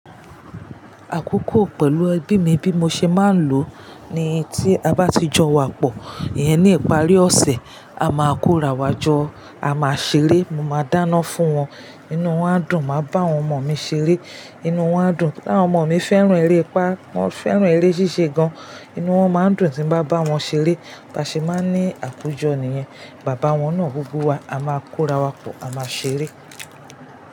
Àkókò pẹ̀lú ẹbí mi bí mo ṣe máa ń lò ni tí a bá ti jọ wapọ̀, ìyẹn ní ìparí ọ̀sẹ̀, a máa kórawọ́ jọ, a máa ṣeré, mo máa dáná fún wọn, inú wọn á dùn. Màá bá àwọn ọmọ mi ṣeré, inú wọn á dùn. Táwọn ọmọ mi fẹ́ràn eré ipa, wọ́n fẹ́ràn eré ṣíṣe gan. Inú wọn máa ń dùn tí n bá bá wọn ṣeré. Baṣe máa ń ní àkójọ niyẹn. Bàbá wọn náà gbogbo wa, a máa kórawọ́ pọ̀, a máa ṣeré.